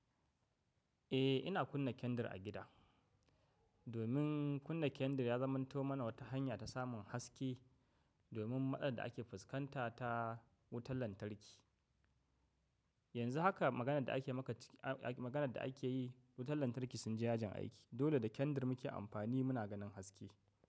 Eh ina kunna kendir a gida, domin kunna kendir ya zamanto mana wata hanya ta samun haske. Domin matsalar da ake fuskanta ta wutar lantarki. Yanzu haka maganar da ake yi wutar lantarki sun je yajin aiki. Dole da kendir muke amfani muna ganin haske.